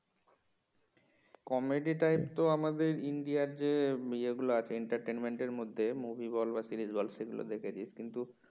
comedy type তো আমাদের ইন্ডিয়ার যে এগুলো আছে entertainment র মধ্যে movie বল বা series বল সেগুলো দেখেছিস কিন্তু